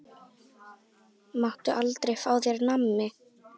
Hann á þrjú börn.